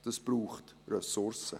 Das braucht Ressourcen.